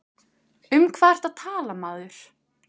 Um hvað ertu að tala maður?